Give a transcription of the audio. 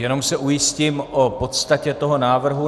Jenom se ujistím o podstatě toho návrhu.